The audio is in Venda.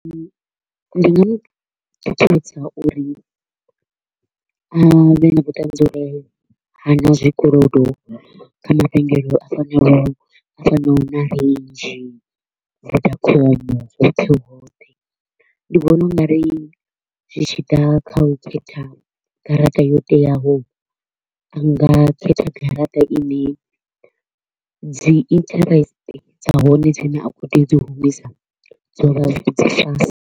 Ndi nga mu ṱuṱuwedza uri a vhe na vhuṱanzi uri ha na zwikolodo kha mavhengele a fanaho a fanaho na Range, Vodacom, hoṱhe hoṱhe. Ndi vhona u nga ri zwi tshi ḓa kha u khetha garaṱa yo teaho, a nga khetha garaṱa i ne dzi interest dza hone dzi ne a kho u tea u dzi humisa dzo vha dzi dza fhasi.